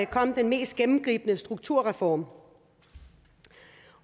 kom den mest gennemgribende strukturreform